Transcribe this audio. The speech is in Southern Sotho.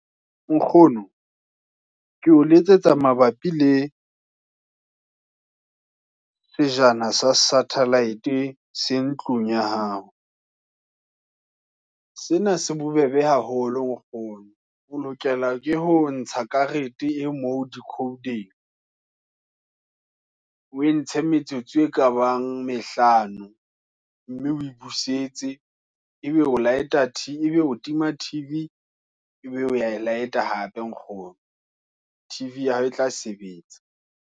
Nkgono, ke o letsetsa mabapi le sejana sa satellite se ntlong ya hao. Sena se bo bebe haholo nkgono, o lokela ke ho ntsha karete e moo dicode-ng, o e ntshe metsotso e ka bang mehlano, mme oe busetse, e be o tima T_V, ebe o ya e light-a hape nkgono. T_V ya hao e tla sebetsa.